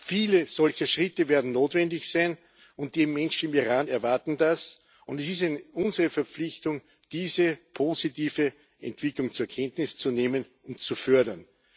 Viele solche Schritte werden notwendig sein und die Menschen im Iran erwarten das, und es ist unsere Verpflichtung, diese positive Entwicklung zur Kenntnis zu nehmen und zu fördern.